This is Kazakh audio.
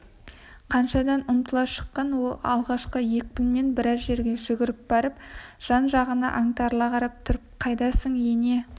қашадан ұмтыла шыққан ол алғашқы екпінімен біраз жерге жүгіріп барып жан-жағына аңтарыла қарап тұрып қайдасың ене